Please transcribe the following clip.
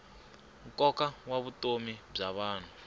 nkoka wa vutomi bya vanhu